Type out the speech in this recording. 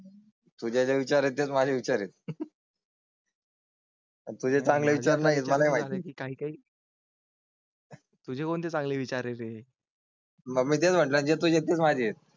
तुझ्या विचारातच माझे विचार आहेत. तुझे चांगला विचार नाही. मला बाकी काही. तुझे कोणते चांगले विचार आहे? मग मी तेच म्हणजे तुझे माझे आहेत.